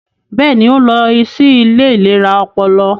Bẹẹni, o nlọ sí ilé ìlera ọpọlọ